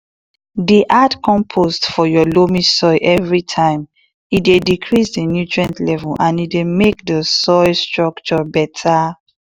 dey add compost for your loamy soil everytimee dey increase di nutrient level and e dey make di soil structure beta.